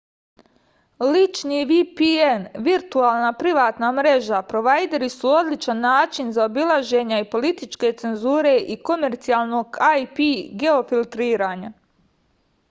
лични vpn виртуелна приватна мрежа провајдери су одличан начин заобилажења и политичке цензуре и комерцијалног ip геофилтрирања